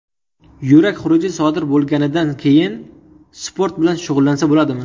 Yurak xuruji sodir bo‘lganidan keyin sport bilan shug‘ullansa bo‘ladimi?